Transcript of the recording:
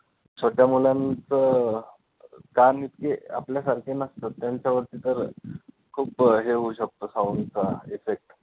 छोट्या मुलांचं कान इतके आपल्यासारखे नसतात, त्यांच्यावरती तर खूप हे होऊ शकतो sound चा effect